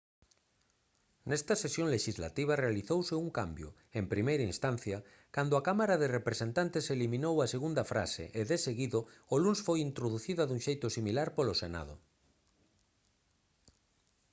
nesta sesión lexislativa realizouse un cambio en primeira instancia cando a cámara de representantes eliminou a segunda frase e deseguido o luns foi introducida dun xeito similar polo senado